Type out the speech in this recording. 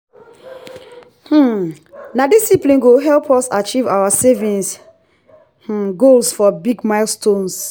um na discipline go help us achieve our saving um goals for big milestones.